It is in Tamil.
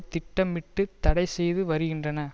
திட்டமிட்டுத் தடை செய்து வருகின்றன